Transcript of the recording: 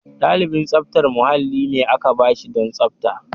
Ɗalibin tsaftar mahalli ne aka ba shi don tsafta.